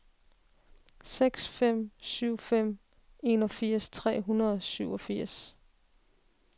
seks fem syv fem enogfirs tre hundrede og syvogfirs